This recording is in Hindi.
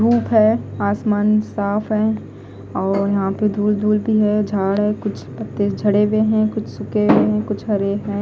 धूप है आसमान साफ है और यहां पे धूल धूल भी है झाड़ है कुछ पत्ते झड़े हुए हैं कुछ सूखे हुए हैं कुछ हरे हैं।